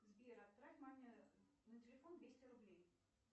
сбер отправь маме на телефон двести рублей